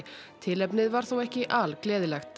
tilefnið var þó ekki al gleðilegt